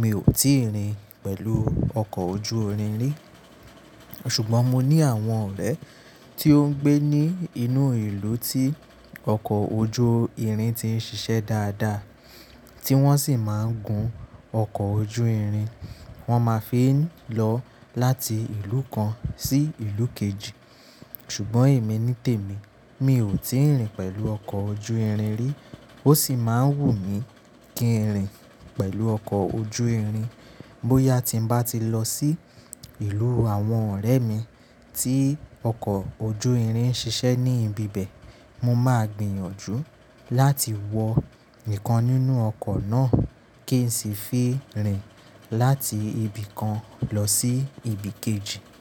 mi ò tíì rìn pẹ̀lú ọkọ̀ ojú irin rí. Ṣùgbọ́n mo ní àwọn ọ̀rẹ́ tí ó ń gbé ní inú ìlú tí ọkọ̀ ojú irin ti ń ṣiṣẹ́ dáadáa, tí wọ́n sì máa ń gun ọkọ̀ ojú irin, wọ́n máa fi ń lọ láti ìlú kan sí ìlú kejì. Ṣùgbọ́n èmi nítèmi, mi ò tíì rìn pẹ̀lú ọkọ̀ ojú irin rí, ó sì máa ń wù mí kí n rìn pẹ̀lú ọkọ̀ ojú irin. Bóyá tí n bá ti lọ sí ìlú àwọn ọ̀rẹ́ mi tí ọkọ̀ ojú irin ń ṣiṣẹ́ ní ibi bẹ̀, mo máa gbìyànjú láti wọ ìkan nínú ọkọ̀ náà kí n sì fi rìn láti ibi kan lọ sí ibi kejì.